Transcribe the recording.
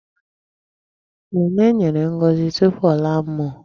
Nnenne nyèrè ngọzi tupu ọla mmụọ.